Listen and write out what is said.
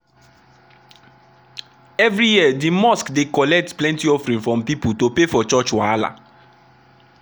every year the mosque dey collect plenty offering from people to pay for church wahala.